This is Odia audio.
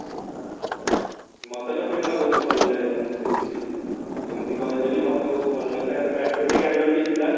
ମତେ ତ film ଟା ବହୁତ ଭଲ ଲାଗିଲା actually ଏମିତି କହିଲେ ବି ମତେ ବହୁତ ଭଲ ଲାଗିଲା ବି ଥିଲା